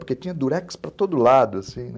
Porque tinha durex para todo lado, assim, né?